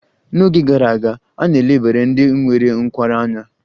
N'oge gara aga, a na-elebara ndị nwere nkwarụ anya.